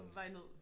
På vej ned